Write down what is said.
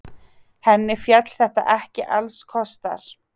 Henni féll þetta ekki allskostar.